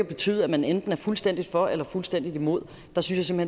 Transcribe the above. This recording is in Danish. betyde at man enten er fuldstændig for eller fuldstændig imod der synes jeg